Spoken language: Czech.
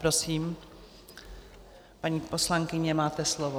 Prosím, paní poslankyně, máte slovo.